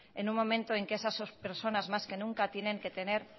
en un momento en que esas personas más que nunca tienen que tener